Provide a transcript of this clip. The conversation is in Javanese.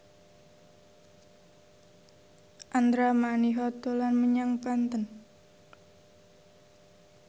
Andra Manihot dolan menyang Banten